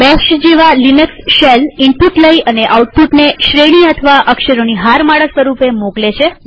bash જેવા Linux shell input લઇ અને આઉટપુટને શ્રેણી અથવા અક્ષરોની હારમાળા સ્વરૂપે મોકલે છે